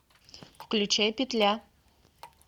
включай петля